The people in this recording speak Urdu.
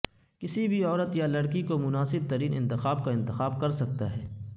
کسی بھی عورت یا لڑکی کو مناسب ترین انتخاب کا انتخاب کرسکتا ہے